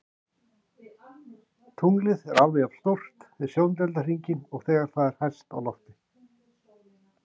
Tunglið er alveg jafn stórt við sjóndeildarhringinn og þegar það er hæst á lofti.